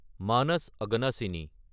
Manas Aghanashini